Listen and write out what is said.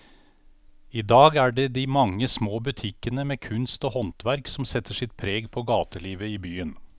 I dag er det de mange små butikkene med kunst og håndverk som setter sitt preg på gatelivet i byen.